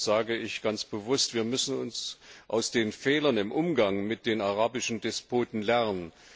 Darum sage ich ganz bewusst Wir müssen aus den Fehlern im Umgang mit den arabischen Despoten lernen.